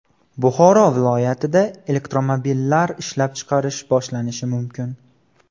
Buxoro viloyatida elektromobillar ishlab chiqarish boshlanishi mumkin.